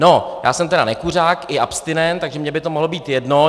No, já jsem tedy nekuřák i abstinent, takže mně by to mohlo být jedno.